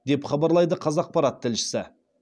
деп хабарлайды қазақпарат тілшісі